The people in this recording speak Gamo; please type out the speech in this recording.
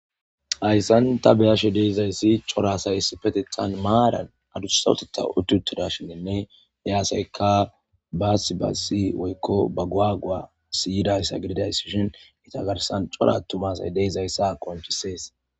hayssan ta beyashe deizayssi corasays petethan maaran adusawteta ututida shininne yaaseyka baasiba si woykko baguagua siyidayssa gedidaysishin itagarsan corattumasay deyzayssa konchisees